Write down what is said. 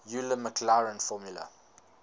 euler maclaurin formula